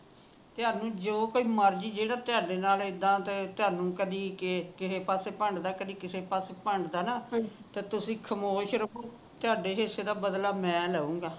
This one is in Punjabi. ਤੁਹਾਨੂੰ ਜੋ ਕੋਈ ਮਰਜੀ ਜੇੜਾ ਤੁਹਾਡੇ ਨਾਲ ਇੱਦਾ ਦੇ ਤੁਹਾਨੂੰ ਕਦੀ ਤੇ ਕਿਸੇ ਪਾਸੇ ਪੰਡਦਾ ਕਦੀ ਕਿਸੇ ਪਾਸੇ ਪਣਦਾ ਨਾ ਤਾ ਤੁਸੀ ਖਾਮੋਸ਼ ਰਖੋ ਤੁਹਾਡੇ ਹਿੱਸੇ ਦਾ ਬਦਲਾ ਮੈ ਲਊਂਗਾ